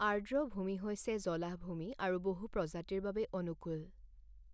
আৰ্দ্ৰভূমি হৈছে জলাহভূমিআৰু বহু প্ৰজাতিৰ বাবে অনুকূল।